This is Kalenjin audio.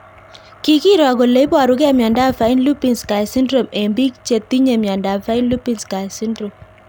kikiro kole iparukei miondop Fine Lubinsky syndrome eng'pik che tinye miondop Fine Lubinsky syndrome